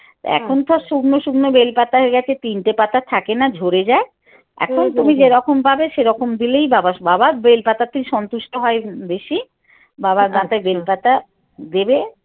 এখন তো আর শুকনো শুকনো বেল পাতার গাছে তিনটে পাতা থাকে না ঝরে যায় এখন তুমি যেরকম পাবে সেরকম দিলেই বাবা বাবার বেল পাতাতেই সন্তুষ্ট হয় বেশি বাবার বেল পাতা দেবে।